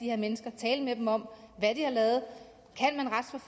her mennesker tale med dem om hvad de har lavet